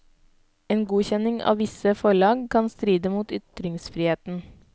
En godkjenning av visse forlag kan stride mot ytringsfriheten.